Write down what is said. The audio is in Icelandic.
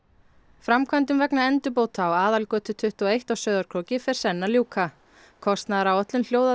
framkvæmdum vegna endurbóta á Aðalgötu tuttugu og eitt á Sauðárkróki fer senn að ljúka kostnaðaráætlun hljóðaði